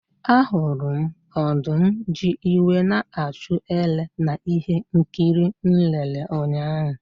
Ahụrụ m ọdụm ji iwe na-achụ ele na ihe nkiri m lere ụnyahụ.